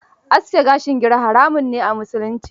Aske gashin gira haramun ne a musulunci.